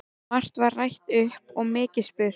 Margt var rætt og mikið spurt.